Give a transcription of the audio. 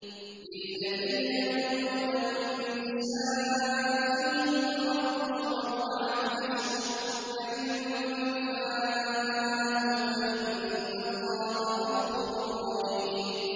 لِّلَّذِينَ يُؤْلُونَ مِن نِّسَائِهِمْ تَرَبُّصُ أَرْبَعَةِ أَشْهُرٍ ۖ فَإِن فَاءُوا فَإِنَّ اللَّهَ غَفُورٌ رَّحِيمٌ